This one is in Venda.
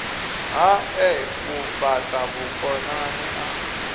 hae u fhata vhukonani a